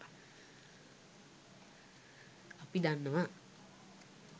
අපි දන්නවා